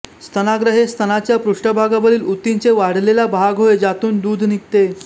स्तनाग्र हे स्तनाच्या पृष्ठभागावरील ऊतींचे वाढलेला भाग होय ज्यातून दूध निघते